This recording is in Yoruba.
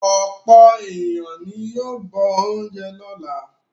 Ọ̀pọ̀ ènìyàn ni yóò bọ oúnjẹ lọ́la.